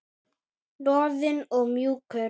Loðinn og mjúkur.